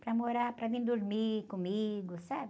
Para morar, para vir dormir comigo, sabe?